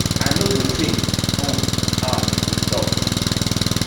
i no go change um am e tok